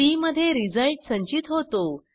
C मध्ये रिझल्ट संचित होतो